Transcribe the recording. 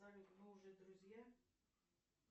салют мы уже друзья